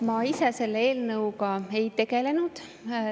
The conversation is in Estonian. Ma ise selle eelnõuga ei tegelenud.